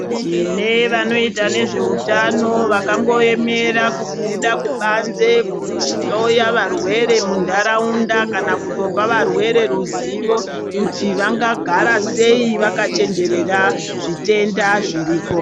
Tine vanoita nezvehutano vakangoemera kubuda kubanze kunohloya varwere mundaraunda kana kutopa varwere ruzivo kuti vangagara sei vakachenjerera zvitenda zviriko.